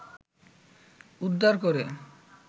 উদ্ধার করে